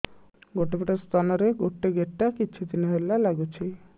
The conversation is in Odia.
ଗୋଟେ ପଟ ସ୍ତନ ରେ ଗୋଟେ ଗେଟା କିଛି ଦିନ ହେଲା ଲାଗୁଛି